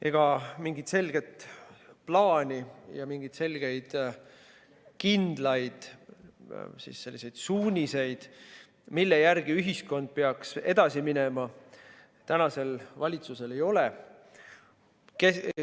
Ega mingit selget plaani ja mingeid selgeid, kindlaid suuniseid, mille järgi ühiskond peaks edasi minema, tänasel valitsusel ei ole.